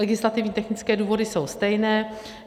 Legislativně technické důvody jsou stejné.